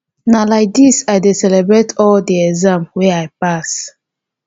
na lai dis i dey celebrate all di exam wey i pass.